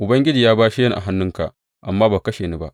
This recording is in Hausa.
Ubangiji ya bashe ni a hannunka amma ba ka kashe ni ba.